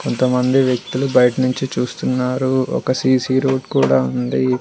కొంతమంది వ్యక్తులు బయటినుంచి చూస్తున్నారు ఒక సీ_సీ రూట్ కూడా ఉంది.